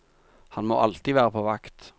Han må alltid være på vakt.